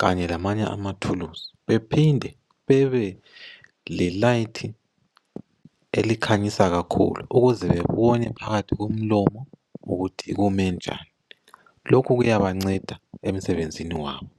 kanye lamanye amathulusi bephinde bebele light elikhanyisa kakhulu ukuze bebone phakathi komlomo ukuthi ume njani lokhu kuyabanceda emsebenzini wabo.